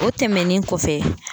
O tɛmɛnen kɔfɛ